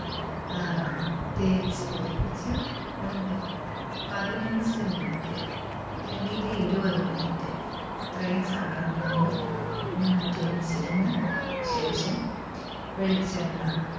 ആഹ് തേച്ചുപിടിപ്പിച്ച് ഒരു പതിനഞ്ച് minute അല്ലെങ്കിൽ ഇരുപത് minute അത്രയും സമയം നമ്മള് മാറ്റിവെച്ചിരുന്ന് ശേഷം വെളിച്ചെണ്ണ